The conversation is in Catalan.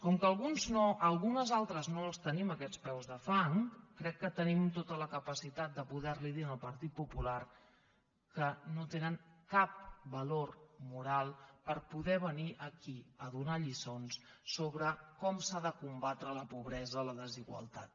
com que algunes altres no els tenim aquests peus de fang crec que tenim tota la capacitat de poder li dir al partit popular que no tenen cap valor moral per poder venir aquí a donar lliçons sobre com s’ha de combatre la pobresa la desigualtat